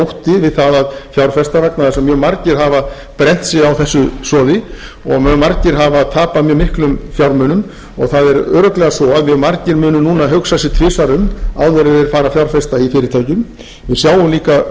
ótti við það að fjárfesta vegna þess að mjög margir hafa brennt sig á þessu soði og mjög margir hafa tapað mjög miklum fjármunum það er örugglega svo að mjög margir munu núna hugsa sig tvisvar um áður en þeir fara að fjárfesta í fyrirtækjum við sjáum